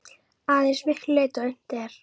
Að eins miklu leyti og unnt er.